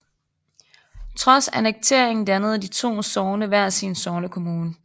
Trods annekteringen dannede de to sogne hver sin sognekommune